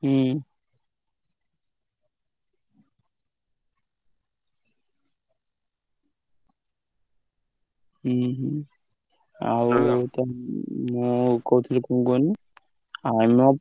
ହୁଁ। ହୁଁ ହୁଁ। ଆଉ ମୁଁ କହୁଥିଲି କଣ କୁହନି ଆମ,